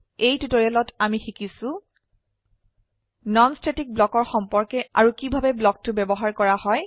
এই টিউটৰিয়েলত আমি শিকিছো নন স্ট্যাটিক ব্লকৰ সম্পৰ্কে আৰু কিভাবে ব্লকটো ব্যবহাৰ কৰা হয়